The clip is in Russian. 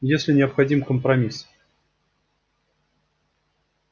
если необходим компромисс